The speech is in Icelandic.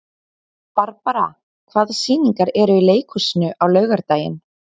Barbara, hvaða sýningar eru í leikhúsinu á laugardaginn?